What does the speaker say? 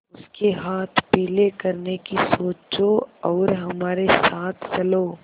उसके हाथ पीले करने की सोचो और हमारे साथ चलो